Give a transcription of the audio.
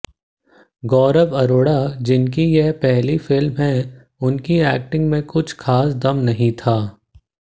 गौरव अरोरा जिनकी ये पहली फिल्म है उनकी एक्टिंग में कुछ ख़ास दम नहीं था